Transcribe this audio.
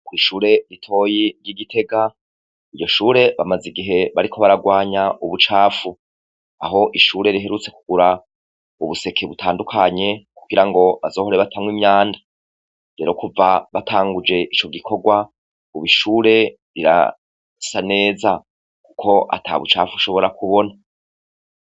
Ko'ishure ritoyi ry'igitega iryo shure bamaze igihe bariko baragwanya ubucafu aho ishure riherutse kugura ubuseke butandukanye kugira ngo bazohore batamwa imyanda bero kuva batanguje ico gikorwa ubo ishure rirasa neza, kuko ata bucafu shobora kubona.